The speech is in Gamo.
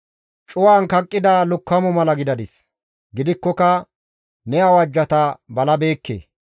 Cuwan kaqqida lukkamo mala gidadis; gidikkoka ne awajjata balabeekke.